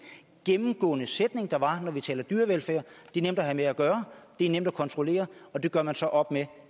gennemgående sætning der var når vi taler dyrevelfærd det er nemt at have med at gøre det er nemt at kontrollere og det gør man så op med